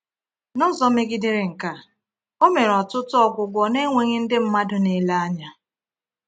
N’ụzọ megidere nke a, O mere ọtụtụ ọgwụgwọ na-enweghị ndị mmadụ na-ele ya.